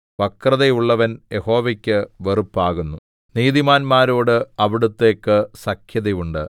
വക്രതയുള്ളവൻ യഹോവയ്ക്ക് വെറുപ്പാകുന്നു നീതിമാന്മാരോട് അവിടുത്തേയ്ക്ക് സഖ്യത ഉണ്ട്